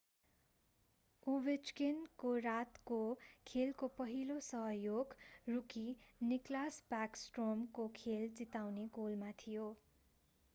Ovechkin ovechkin को रातको खेलको पहिलो सहयोग रुकी निकलास ब्याकस्ट्रोम nicklas backstrom को खेल जिताउने गोलमा थियो;